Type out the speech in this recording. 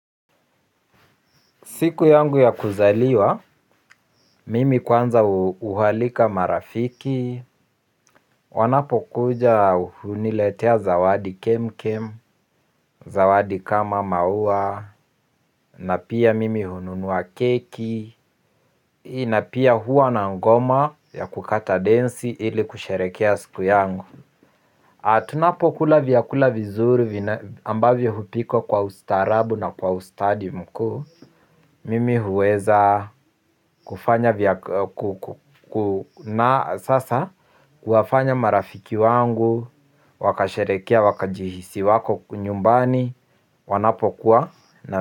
Siku yangu ya kuzaliwa, mimi kwanza hualika marafiki, wanapokuja huniletea zawadi kem kem, zawadi kama maua, na pia mimi hununua keki na pia huwa na ngoma ya kukata densi ili kusherehekea siku yangu. Tunapokula vyakula vizuri ambavyo hupikwa kwa ustarabu na kwa ustadi mkuu mimi huweza kufanya, na sasa kuwafanya marafiki wangu wakasherehekea wakajihisi wako nyumbani wanapokuwa na.